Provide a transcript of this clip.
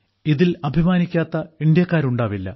ഇതിൽ അഭിമാനിക്കാത്ത ഇന്ത്യക്കാരുണ്ടാവില്ല